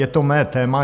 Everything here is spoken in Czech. Je to mé téma.